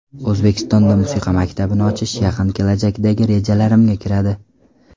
O‘zbekistonda musiqa maktabini ochish yaqin kelajakdagi rejalarimga kiradi.